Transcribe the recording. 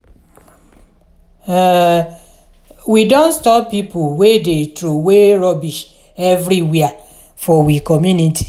um we don stop pipo wey dey troway rubbish everywhere for we community.